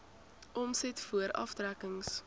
omset voor aftrekkings